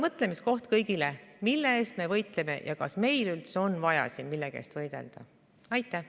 Mõtlemiskoht kõigile: mille eest me võitleme ja kas meil üldse on vaja siin millegi eest võidelda?